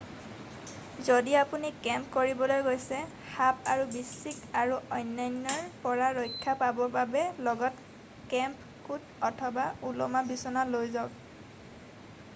যদি আপুনি কেম্প কৰিবলৈ গৈছে সাপ আৰু বিশ্চিক আৰু অন্যান্যৰ পৰা ৰক্ষা পাবৰ বাবে লগত কেম্প কোট অথবা ওলোমা বিচনা লৈ যাওক